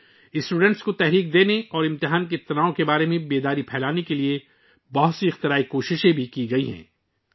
طلبہ کی حوصلہ افزائی کرنے اور امتحان سے متعلق تناؤ کے بارے میں بیداری پھیلانے کے لیے بہت ساری اختراعی کوششیں بھی کی گئی ہیں